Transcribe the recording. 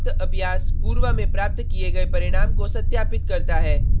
उपरोक्त अभ्यास पूर्व में प्राप्त किए गए परिणाम को सत्यापित करता है